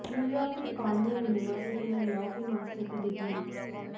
New York की Cornell university से law में मास्टर की डिग्री ली